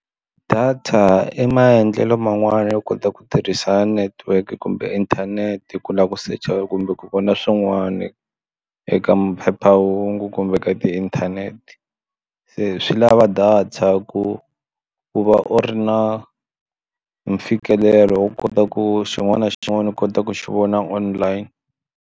Data i maendlelo man'wani yo kota ku tirhisa network kumbe inthanete ku lava ku search-a kumbe ku vona swin'wana eka maphephahungu kumbe ka ti inthanete inthanete se swi lava data ku ku va u ri na mfikelelo wo kota ku xin'wana na xin'wana u kota ku xi vona online.